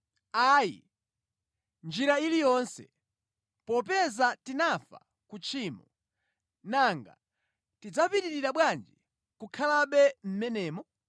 Ayi. Mʼnjira iliyonse! Popeza tinafa ku tchimo, nanga tidzapitirira bwanji kukhalabe mʼmenemo?